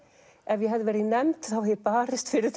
ef ég hefði verið í nefnd hefði ég barist fyrir